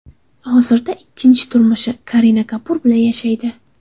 Hozirda ikkinchi turmushi Karina Kapur bilan yashaydi.